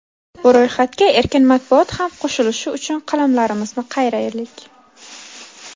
Bu ro‘yxatga erkin matbuot ham qo‘shilishi uchun qalamlarimizni qayraylik.